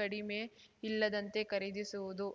ಕಡಿಮೆ ಇಲ್ಲದಂತೆ ಖರೀದಿಸುವುದು